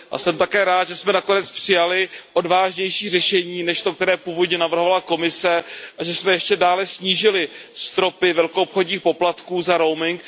A jsem také rád, že jsme nakonec přijali odvážnější řešení než to, které původně navrhovala Komise, a že jsme ještě dále snížili stropy velkoobchodních poplatků za roaming.